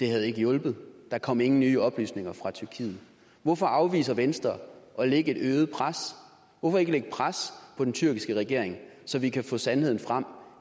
har hjulpet der kom ingen nye oplysninger fra tyrkiet hvorfor afviser venstre at lægge et øget pres hvorfor ikke lægge pres på den tyrkiske regering så vi kan få sandheden frem